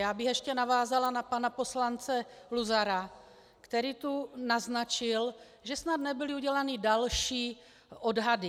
Já bych ještě navázala na pana poslance Luzara, který tu naznačil, že snad nebyly udělány další odhady.